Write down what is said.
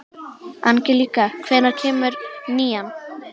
Angelíka, hvenær kemur nían?